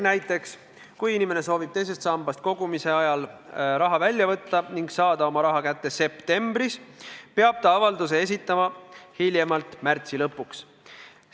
Näiteks, kui inimene soovib teisest sambast kogumise ajal raha välja võtta ning saada oma raha kätte septembris, peab ta avalduse esitama hiljemalt märtsi lõpuks.